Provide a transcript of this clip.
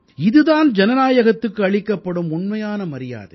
இது தான் ஜனநாயகத்துக்கு அளிக்கப்படும் உண்மையான மரியாதை